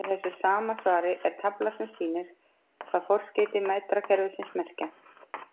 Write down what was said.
Í þessu sama svari er tafla sem sýnir hvað forskeyti metrakerfisins merkja.